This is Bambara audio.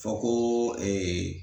Fɔ ko ee